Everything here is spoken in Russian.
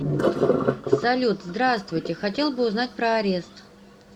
салют здравствуйте хотел бы узнать про арест